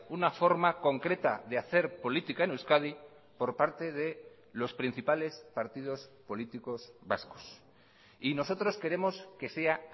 una forma concreta de hacer política en euskadi por parte de los principales partidos políticos vascos y nosotros queremos que sea